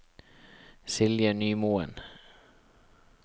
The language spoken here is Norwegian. Silje Nymoen